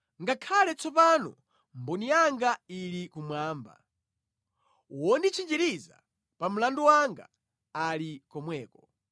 Ngakhale tsopano mboni yanga ili kumwamba; wonditchinjiriza pa mlandu wanga ali komweko.